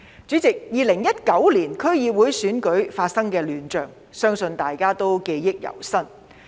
主席 ，2019 年區議會選舉發生的亂象，相信大家記憶猶新。